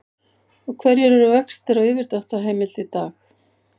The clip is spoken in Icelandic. Og hverjir eru vextir á yfirdráttarheimild í dag?